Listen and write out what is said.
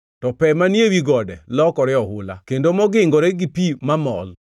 to pe manie wi gode lokore oula kendo mogingore gi pi mamol,